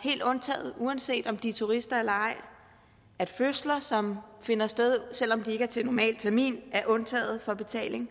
helt undtaget uanset om de er turister eller ej at fødsler som finder sted selv om de ikke er til normal termin er undtaget fra betaling